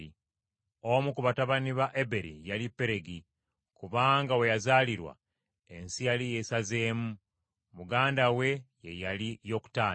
Omu ku batabani ba Eberi yali Peregi, kubanga we yazaalirwa ensi yali yeesazeemu, muganda we ye yali Yokutaani.